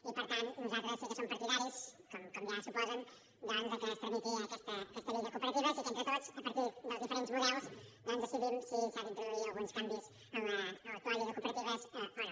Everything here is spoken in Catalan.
i per tant nosaltres sí que som partidaris com ja suposen doncs que es tramiti aquesta llei de cooperatives i que entre tots a partir dels diferents models doncs decidim si s’ha d’introduir alguns canvis a l’actual llei de cooperatives o no